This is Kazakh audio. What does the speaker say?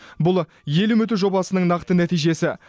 бұл ел үміті жобасының нақты нәтижесі